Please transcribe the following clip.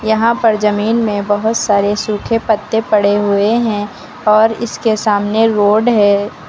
यहां पर जमीन में बहुत सारे सूखे पत्ते पड़े हुए हैं और इसके सामने रोड है।